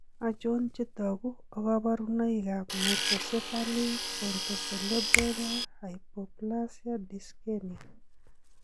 Achon chetogu ak kaborunoik ab Microcephaly pontocerebellar hypoplasia dyskenia?